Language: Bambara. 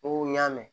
N ko n y'a mɛn